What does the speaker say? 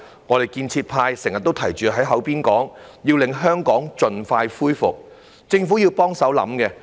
我們建設派經常提出要令香港盡快恢復，政府也要協助思考這個問題。